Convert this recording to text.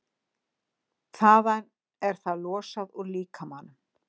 Þaðan er það losað úr líkamanum.